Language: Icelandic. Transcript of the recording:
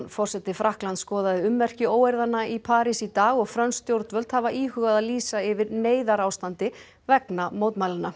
forseti Frakklands skoðaði ummerki í París í dag og frönsk stjórnvöld hafa íhugað að lýsa yfir neyðarástandi vegna mótmælanna